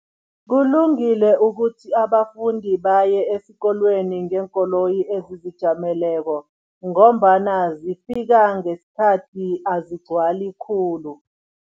Kulungile ukuthi abafundi baye esikolweni ngeenkoloyi ezizijameleko ngombana zifika ngesikhathi, azigcwali khulu.